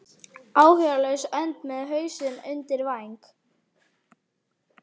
Áhyggjulaus önd með hausinn undir væng.